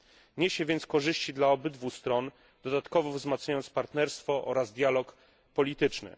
Niesie więc korzyści dla obydwu stron, dodatkowo wzmacniając partnerstwo oraz dialog polityczny.